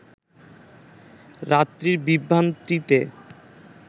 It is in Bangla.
রাত্রির বিভ্রান্তিতে